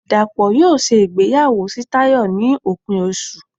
Dapo yóò ṣe ìgbéyàwó sí Tayo ni opín osú